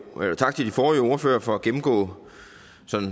og tak til de forrige ordførere for at gennemgå